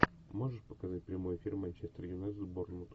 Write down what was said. можешь показать прямой эфир манчестер юнайтед борнмут